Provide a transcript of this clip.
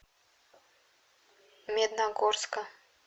медногорска